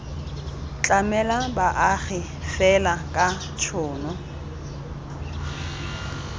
tlamela baagi fela ka tshono